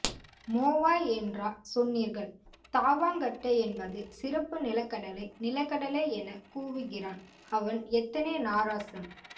மோவாய் என்றா சொன்னீர்கள் தாவாங்கட்டை என்பது சிறப்பு நிலக்கடலை நிலக்கடலை எனக் கூவுகிறான் அவன் எத்தனை நாராசம்